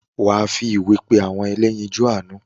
wà á fi ìwé pé “ àwọn ẹlẹ́yinjún àánú ”?